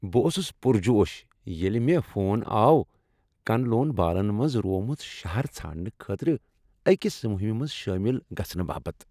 بہٕ اوسس پرجوش ییٚلہ مےٚ فون آو کن لون بالن منٛز روومت شہر ژھانڈنہٕ خٲطرٕ أکس مہمہ منٛز شٲمل گژھنہٕ باپت۔